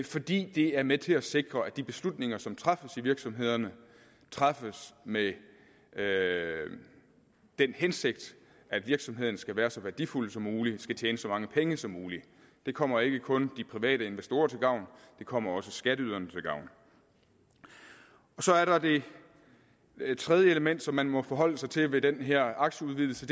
fordi det er med til at sikre at de beslutninger som træffes i virksomhederne træffes med med den hensigt at virksomheden skal være så værdifuld som muligt skal tjene så mange penge som muligt det kommer ikke kun de private investorer til gavn det kommer også skatteyderne til gavn så er der det tredje element som man må forholde sig til ved den her aktieudvidelse